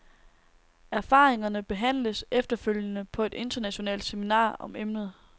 Erfaringerne behandles efterfølgende på et internationalt seminar om emnet.